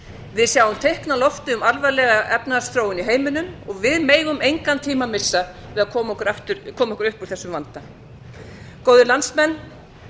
við sjáum teikn á lofti um alvarlega efnahagsþróun í heiminum og við megum engan tíma missa til að koma okkur upp úr þessum vanda góðir landsmenn